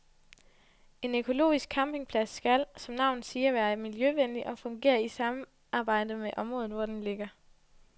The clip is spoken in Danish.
En økologisk campingplads skal, som navnet siger, være miljøvenlig og fungere i samarbejde med området, hvor den ligger.